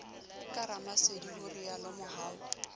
ka ramasedi ho rialo mohau